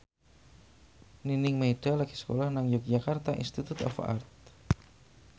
Nining Meida lagi sekolah nang Yogyakarta Institute of Art